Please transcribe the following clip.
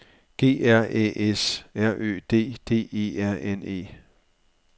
G R Æ S R Ø D D E R N E